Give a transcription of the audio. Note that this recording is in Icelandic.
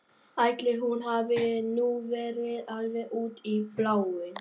Ætli hún hafi nú verið alveg út í bláinn.